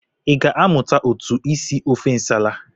I ga-amụ otu esi ofe nsala?